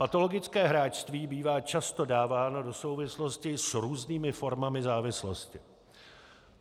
Patologické hráčství bývá často dáváno do souvislostí s různými formami závislostí.